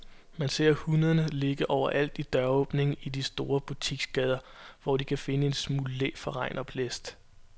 Man ser hundene ligge overalt i døråbningerne i de store butiksgader, hvor de kan finde en smule læ for regn og blæst.